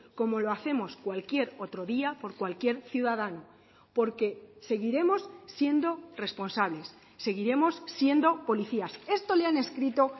como lo hacemos cualquier otro día por cualquier ciudadano porque seguiremos siendo responsables seguiremos siendo policías esto le han escrito